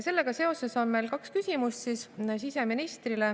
Sellega seoses on meil siseministrile kaks küsimust.